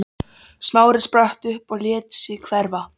Smári spratt upp og lét sig hverfa.